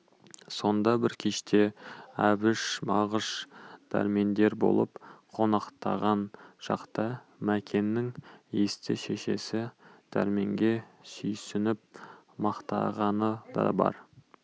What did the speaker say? сонда бір кеште әбіш мағыш дәрмендер болып қонақтаған шақта мәкеннің есті шешесі дәрменге сүйсініп мақтағаны да бар